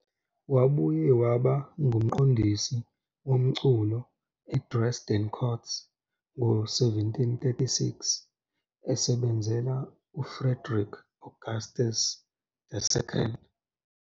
Wabuye waba ngumqondisi womculo eDresden Court ngo-1736, esebenzela uFrederick Augustus II.